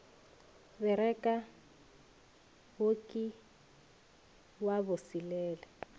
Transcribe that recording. bereka wo ke wa boselela